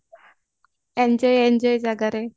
enjoy enjoy ଜାଗାରେ